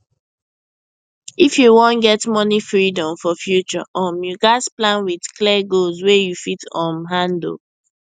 if you wan get money freedom for future um you gats plan with clear goals wey you fit um handle